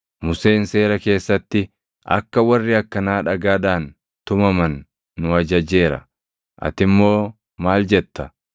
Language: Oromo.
Museen Seera keessatti akka warri akkanaa dhagaadhaan tumaman nu ajajeera. Ati immoo maal jetta?”